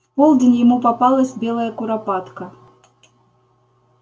в полдень ему попалась белая куропатка